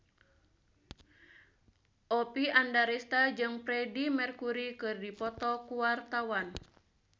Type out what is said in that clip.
Oppie Andaresta jeung Freedie Mercury keur dipoto ku wartawan